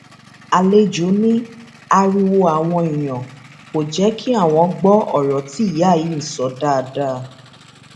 àlejò ní ariwo àwọn èèyàn kò jẹ kí àwọn gbọ ọrọ tí ìyá yìí ń sọ dáadáa